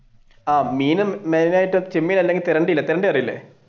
ആഹ് മീനും main ആയിട്ട് ചെമ്മീൻ അല്ലെങ്കിൽ അറിയൂലെ